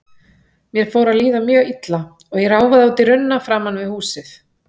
Mér fór að líða mjög illa og ég ráfaði út í runna framan við húsið.